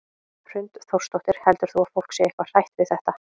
Hrund Þórsdóttir: Heldur þú að fólk sé eitthvað hrætt við þetta?